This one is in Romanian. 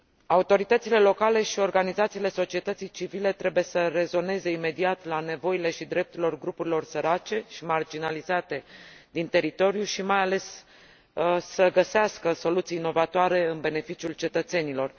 Autoritățile locale și organizațiile societății civile trebuie să rezoneze imediat la nevoile și drepturile grupurilor sărace și marginalizate din teritoriu și, mai ales, să găsească soluții inovatoare în beneficiul cetățenilor.